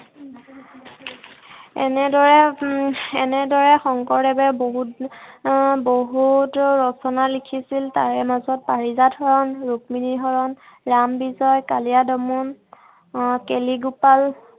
এনেদৰে উম এনেদৰে উম এনেদৰে শংকৰদেৱে বহুত আহ বহুত ৰচনা লিখিছিল। তাৰে মাজত পাৰিজাত হৰণ, ৰুক্মিনী হৰণ, ৰামবিজয় আহ কালিয়া দমন আহ কেলিগোপাল